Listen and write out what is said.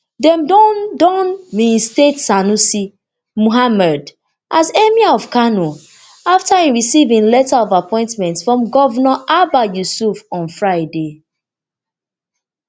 dem don don reinstate sanusi muhammadu as emir of kano afta e receive im letter of appointment from governor abba yusuf on friday